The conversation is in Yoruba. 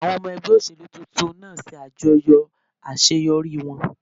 Àwọn ọmọ ẹgbẹ́ òṣèlú tuntun náà ń ṣe àjọyọ̀ àṣeyọrí wọn